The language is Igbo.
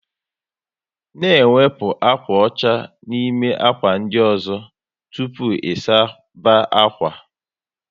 N' ewepụta ákwà ọcha n'ime ákwà ndị ọzọ tụpụ ị suba akwa